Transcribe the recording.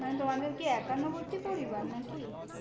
মানে তোমাদের কি একান্নবর্তী পরিবার নাকি?